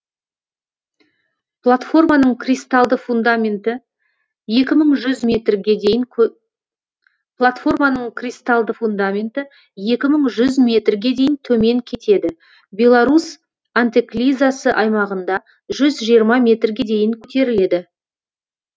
платформаның кристалды фундаменті екі мың жүз метрге дейін төмен кетеді белорус антеклизасы аймағында жүз жиырма метрге дейін көтеріледі